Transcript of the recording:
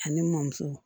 Ani mɔmuso